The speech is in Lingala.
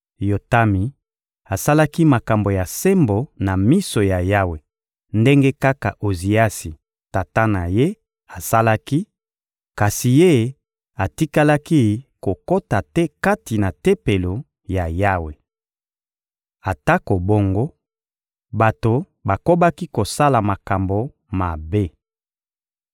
Yotami asalaki makambo ya sembo na miso ya Yawe ndenge kaka Oziasi, tata na ye, asalaki; kasi ye, atikalaki kokota te kati na Tempelo ya Yawe. Atako bongo, bato bakobaki kosala makambo mabe.